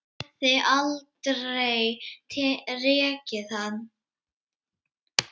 Hann hefði aldrei rekið hana.